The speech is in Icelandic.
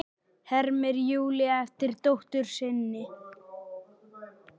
hermir Júlía eftir dóttur sinni.